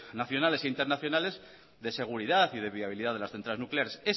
nacionales e internacionales de seguridad y de viabilidad de las centrales nucleares